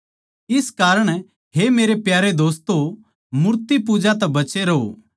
इस कारण हे मेरे प्यारे दोस्तों मूर्तिपूजा तै बचे रहो